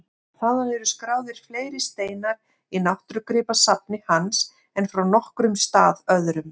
Þaðan eru skráðir fleiri steinar í náttúrugripasafni hans en frá nokkrum stað öðrum.